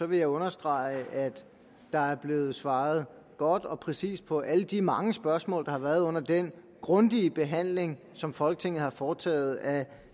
vil jeg understrege at der er blevet svaret godt og præcist på alle de mange spørgsmål der har været under den grundige behandling som folketinget har foretaget af